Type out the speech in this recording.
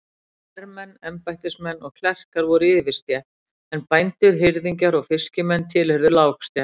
Hermenn, embættismenn og klerkar voru yfirstétt, en bændur, hirðingjar og fiskimenn tilheyrðu lágstétt.